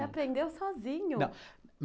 Aprendeu sozinho? Não,